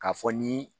K'a fɔ ni